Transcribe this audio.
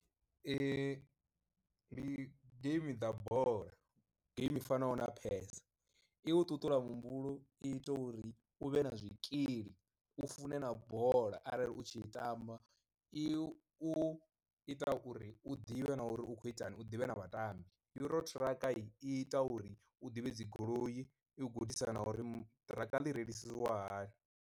Ndi game dza bola geimi fanaho na press, i u ṱuṱula muhumbulo i ita uri u vhe na zwikili u fune na bola arali u tshi ita amba i u ita uri u ḓivhe na uri u khou itani u ḓivhe na vhatambi, uro thrraka i ita uri u ḓivhe dzi goloi i u gudisa na uri ṱiraka ḽi reiliswa hani.